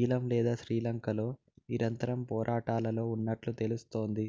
ఈళం లేదా శ్రీలంకలో నిరంతర పోరాటాలలో ఉన్నట్లు తెలుస్తోంది